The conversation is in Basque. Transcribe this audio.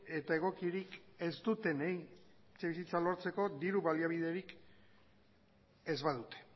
eta egokirik ez dutenei etxebizitza lortzeko diru baliabiderik ez badute